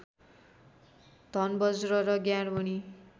धनबज्र र ज्ञानमणी